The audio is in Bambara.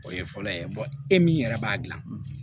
O ye fɔlɔ ye e min yɛrɛ b'a dilan